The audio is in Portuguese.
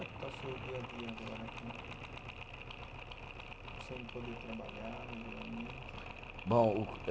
Como é que está o seu dia a dia agora com a, sem poder trabalhar regularmente? Bom o eh